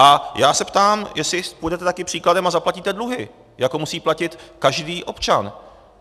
A já se ptám, jestli půjdete také příkladem a zaplatíte dluhy, jako musí platit každý občan.